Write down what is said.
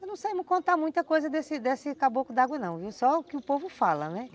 Eu não sei contar muita coisa desse desse caboclo d'água não, só o que o povo fala, né.